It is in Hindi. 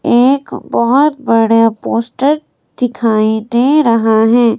एक बहुत बड़ा पोस्टर दिखाई दे रहा है।